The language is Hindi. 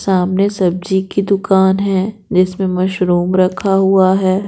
सामने सब्जी की दुकान है जिसमें मशरूम रखा हुआ है।